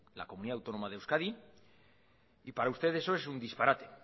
la comunidad autónoma de euskadi para usted eso es un disparate